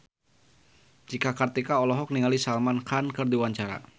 Cika Kartika olohok ningali Salman Khan keur diwawancara